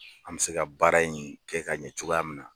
An mɛ se ka baara in kɛ ka ɲɛ cogoya min na.